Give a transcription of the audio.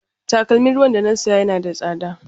Takalmin ruwan da na saya yana da tsada.